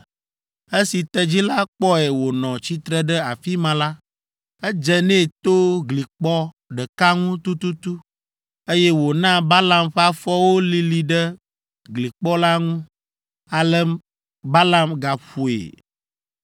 Esi tedzi la kpɔe wònɔ tsitre ɖe afi ma la, edze nɛ to glikpɔ ɖeka ŋu tututu, eye wòna Balaam ƒe afɔwo lili ɖe glikpɔ la ŋu. Ale Balaam gaƒoe.